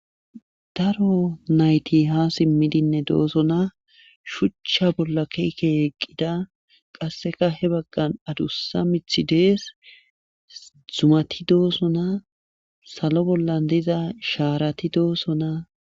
daro nayti ha simmidinne dooso na shuchcha bolla ke'i ke'i eqqida qasseka he baggan adussa mithi dees zumati dooso na salo bollan diza shaarati dooso na